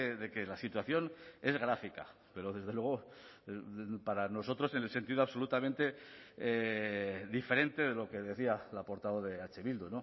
de que la situación es gráfica pero desde luego para nosotros en el sentido absolutamente diferente de lo que decía la portavoz de eh bildu